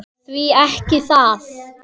Því ekki það.